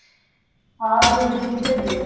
हा ठिक आहे ठिक आहे ये घेऊन.